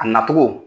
A nacogo